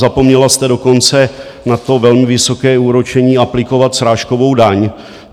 Zapomněla jste dokonce na to velmi vysoké úročení aplikovat srážkovou daň.